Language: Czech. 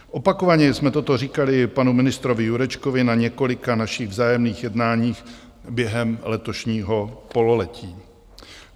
Opakovaně jsme toto říkali panu ministrovi Jurečkovi na několika našich vzájemných jednáních během letošního pololetí.